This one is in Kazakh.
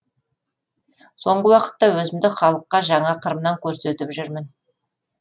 соңғы уақытта өзімді халыққа жаңа қырымнан көрсетіп жүрмін